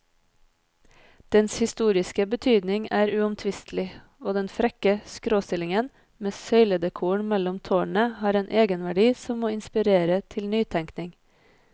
Dens historiske betydning er uomtvistelig, og den frekke skråstillingen med søyledekoren mellom tårnene har en egenverdi som må inspirere til nytenkning.